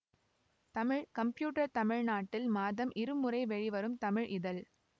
Tamil computer தமிழ்நாட்டில் மாதம் இருமுறை வெளிவரும் தமிழ் இதழ்